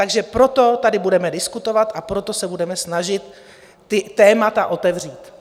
Takže proto tady budeme diskutovat a proto se budeme snažit ta témata otevřít.